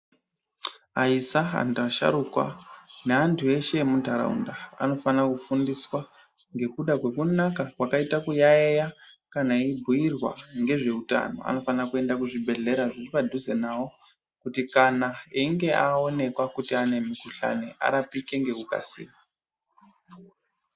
Aisa, asharukwa neantu eshe emuntaraunda anofana kufundiswa ngekuda kwekunaka kwakaita kuyaiya kana eibhuirwa ngezve utano anofana kuenda kuzvibhehlera zviri padhuze nawo kuti einge awoneka kuti ane mukhuhlani kuti arapike ngekukasira.